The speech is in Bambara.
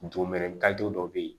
Domɛni dɔ bɛ yen